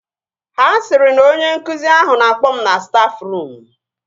Ha sịrị na onye nkụzi ahụ na-akpọ m na stafruum